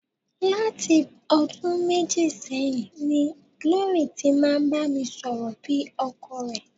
Láti ọdún méjì sẹ́yìn ni Glory ti máa ń bá mi sọ̀rọ̀ bí ọkọ rẹ̀.